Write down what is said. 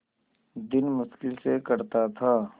दिन मुश्किल से कटता था